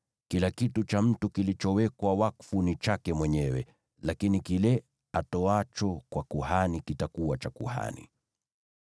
Kila kitu cha mtu kilichowekwa wakfu ni chake mwenyewe, lakini kile atoacho kwa kuhani kitakuwa cha kuhani.’ ”